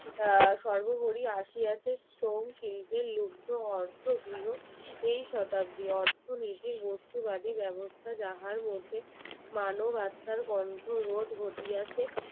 সর্বোপরি আসি আছে শিল্পের মুগ্ধ অর্থ গৃহ এই শতাব্দীর অর্থনীতির বস্তু ব্যবস্থা যাবার মধ্যে মানবতার কন্ঠরোধ ঘটিয়াছে